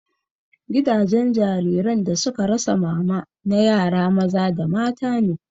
Gidan jariran da suka rasa mama na yara maza da mata ne